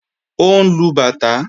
Ó ń lu bàtá